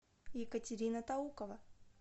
екатерина таукова